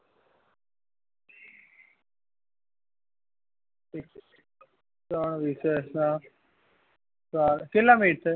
તો વિષય છે કેટલા મહી છે